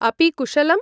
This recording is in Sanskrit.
अपि कुशलम्?